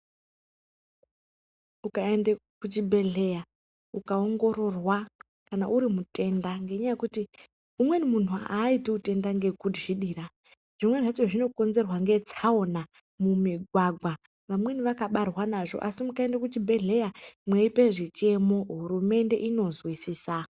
Ukaenda kuchibhedhlera ukaongororwa Kana uri mutenda ngenyaya yekuti umweni muntu Haiti hutenda nekuzvidira zvimweni zvakona zvokonzerwa ngetsaona mumigwagwa vamweni vakabarwa nazvo asi mukaenda kuzvibhedhlera mweipa zvichemo hurumende inonzwisisa.